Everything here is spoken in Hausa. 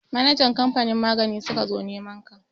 Manajan kamfanin magani suka zo neman ka.